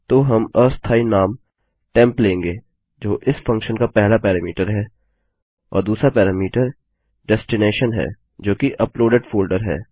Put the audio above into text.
तो हम अस्थायी नाम टेम्प लेंगे जो इस फंक्शन का पहला पैरामीटर है और दूसरा पैरामीटर डेस्टिनैशन है जो कि अपलोडेड फोल्डर है